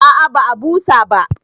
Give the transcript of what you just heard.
A'a ba a busa ba